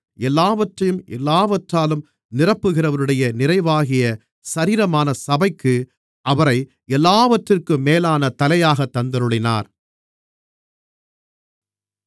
எல்லாவற்றையும் எல்லாவற்றாலும் நிரப்புகிறவருடைய நிறைவாகிய சரீரமான சபைக்கு அவரை எல்லாவற்றிற்கும் மேலான தலையாகத் தந்தருளினார்